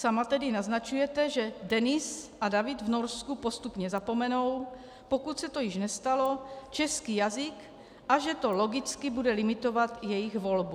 Sama tedy naznačujete, že Denis a David v Norsku postupně zapomenou, pokud se to již nestalo, český jazyk, a že to logicky bude limitovat jejich volbu.